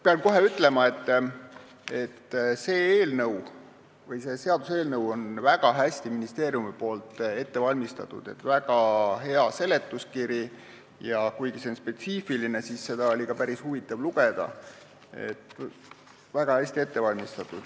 Pean kohe ütlema, et ministeerium on selle seaduseelnõu väga hästi ette valmistanud – seletuskiri on väga hea ja kuigi see on spetsiifiline, oli seda päris huvitav lugeda.